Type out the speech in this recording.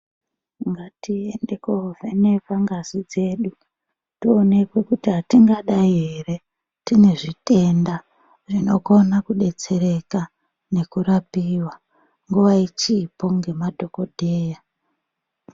Ngatiende kovhenekwa ngazi dzedu toonekwa kuti atingadai ere tine zvitenda zvinokona kudetsereka nekurapiwa nguwa ichipo ngemadhokodheya.